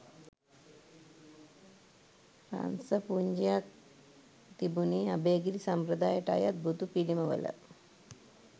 රංස පුඤ්ජයක් තිබුණේ අභයගිරි සම්ප්‍රදායට අයත් බුදු පිළිමවල